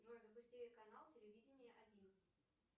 джой запусти канал телевидение один